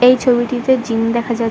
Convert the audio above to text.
এই ছবিটিতে জিম দেখা যাক--